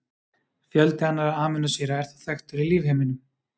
Fjöldi annarra amínósýra er þó þekktur í lífheiminum.